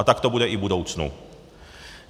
A tak to bude i v budoucnu.